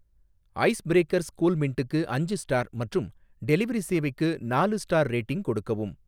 Ice breakers கூல்மின்டுக்கு அஞ்சு star மற்றும் டெலிவரி சேவைக்கு நாலு ஸ்டார் ரேட்டிங் கொடுக்கவும்.